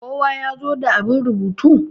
kowa ya zo da abin rubutu!